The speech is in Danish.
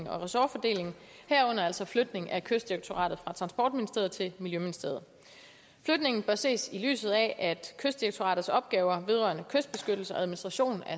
og ressortfordeling herunder altså flytning af kystdirektoratet fra transportministeriet til miljøministeriet flytningen bør ses i lyset af at kystdirektoratets opgaver vedrørende kystbeskyttelse og administration